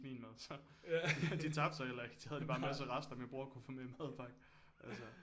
Min mad så de tabte sig heller ikke de havde de bare en masse rester min bror kunne få med i madpakken altsåå